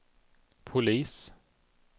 polis